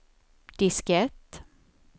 diskett